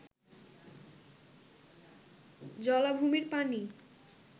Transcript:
জলাভূমির পানি